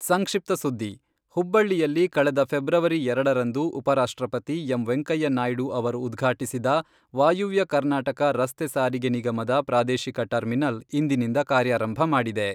ಸಂಕ್ಷಿಪ್ತ ಸುದ್ದಿ, ಹುಬ್ಬಳ್ಳಿಯಲ್ಲಿ ಕಳೆದ ಫೆಬ್ರವರಿ ಎರಡರಂದು ಉಪರಾಷ್ಟ್ರಪತಿ ಎಂ ವೆಂಕಯ್ಯನಾಯ್ಡು ಅವರು ಉದ್ಘಾಟಿಸಿದ ವಾಯುವ್ಯ ಕರ್ನಾಟಕ ರಸ್ತೆ ಸಾರಿಗೆ ನಿಗಮದ ಪ್ರಾದೇಶಿಕ ಟರ್ಮಿನಲ್ ಇಂದಿನಿಂದ ಕಾರ್ಯಾರಂಭ ಮಾಡಿದೆ.